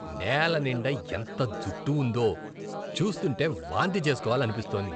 నేల నిండా ఎంత జుట్టు ఉందో. చూస్తుంటే వాంతి చేస్కోవాలనిపిస్తోంది.